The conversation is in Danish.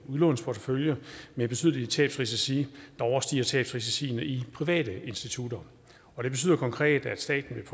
udlånsportefølje med betydelige tabsrisici der overstiger tabsrisiciene i private institutter det betyder konkret at staten vil